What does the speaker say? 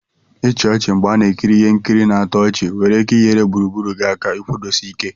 ichi ochi mgbe a na ekiri Ihe nkiri na-atọ ọchị nwere ike nyere ụbụrụ gị aka ikwudosi Ike.